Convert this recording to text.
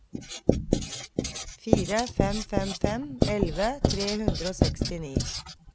fire fem fem fem elleve tre hundre og sekstini